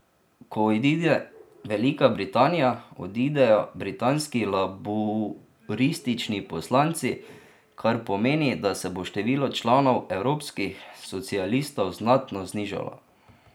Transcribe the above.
Ko odide Velika Britanija, odidejo britanski laburistični poslanci, kar pomeni, da se bo število članov evropskih socialistov znatno znižalo.